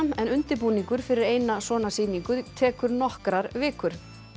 en undirbúningur fyrir eina svona sýningu tekur nokkrar vikur